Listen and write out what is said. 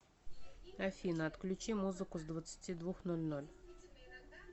афина отключи музыку с двадцати двух ноль ноль